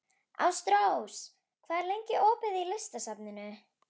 Ástrós, hvað er lengi opið í Listasafninu?